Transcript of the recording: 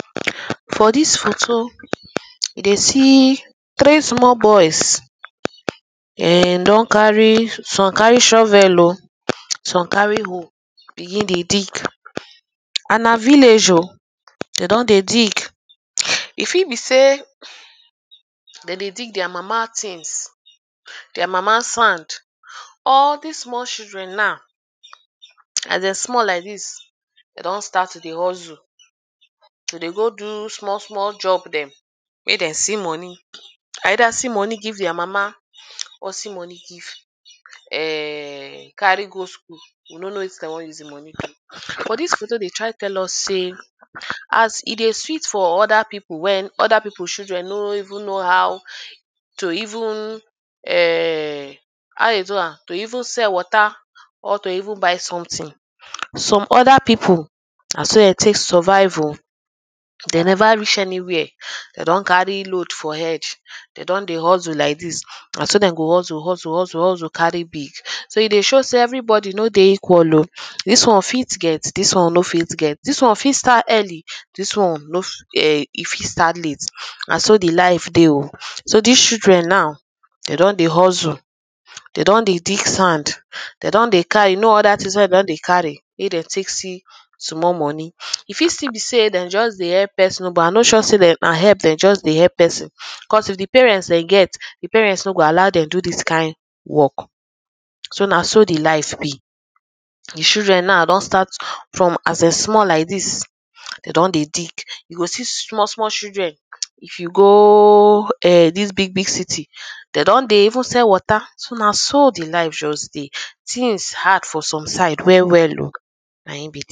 for this photo e dey see three small boys[um]dem don carry some carry shovel o some carry hoe begin dey dig and na vilage o they don dey dig e fit be sey them dey dig their mama things their mama sand or this small children now as them small like this them don start to dey hustle to dey go do small small job them make them see money either see money give their mama or see money give ehhhhhh carry go school we no no wetin dem want use the money do but this photo dey try tell us sey as e dey sweet for other people when other people children no even know how to even ehrrr ha? ðe? du æm to even sell water or even buy something some other people na so them take survive o them never reach anywhere them don carry load for head them don dey hustle like this na so dem go hustle hustle hustle carry so e dey show sey everybody no dey equal o this one fit get this one no fit get this one fit start early this one no fi eehrrr e fit start late na so the life dey o so this children now them don dey hustle they don dey dig sand they don dey carry you know other things wey they don dey carry wey them take see small money e fit still be say them just dey help person but i no sure sey them na help them just dey help person cos if the parents them get the parents no go allow them do this kind work so na so the life be the children now don start from as them small like this they don dey dig you go see small small children if you gooooo[um]this big big city they don dey even sell water so na so the life just dey things hard for some side well well o na hin be that